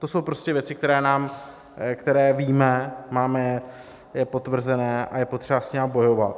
To jsou prostě věci, které víme, máme je potvrzené a je potřeba s nimi bojovat.